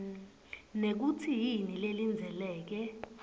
nekutsi yini lelindzeleke